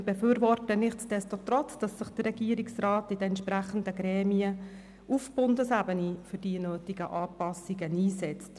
Wir befürworten nichtsdestotrotz, dass sich der Regierungsrat in den entsprechenden Gremien auf Bundesebene für die nötigen Anpassungen einsetzt.